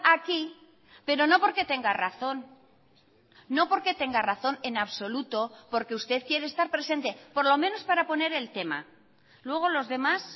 aquí pero no porque tenga razón no porque tenga razón en absoluto porque usted quiere estar presente por lo menos para poner el tema luego los demás